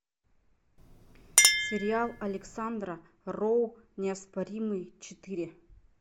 сериал александра роу неоспоримый четыре